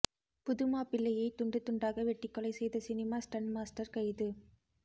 புதுமாப்பிள்ளையை துண்டுதுண்டாக வெட்டி கொலை செய்த சினிமா ஸ்டன்ட் மாஸ்டர் கைது